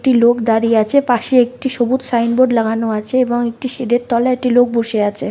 একটি লোক দাঁড়িয়ে আছে। পাশে একটি সবুজ সাইনবোর্ড লাগানো আছে এবং একটি শেড -এর তলায় একটি লোক বসে আছে।